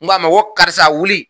N k'a ma ko karisa wuli.